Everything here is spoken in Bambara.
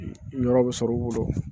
Yɔrɔ bɛ sɔrɔ u bolo